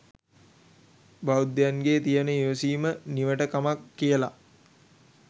බෞද්ධයන්ගේ තියෙන ඉවසීම නිවට කමක් කියලා.